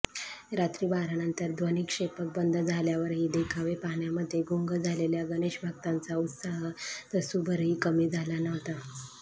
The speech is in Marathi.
रात्री बारानंतर ध्वनिक्षेपक बंद झाल्यावरही देखावे पाहण्यामध्ये गुंग झालेल्या गणेशभक्तांचा उत्साह तसूभरही कमी झाला नव्हता